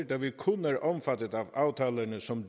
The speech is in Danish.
da vi kun er omfattet af aftalerne som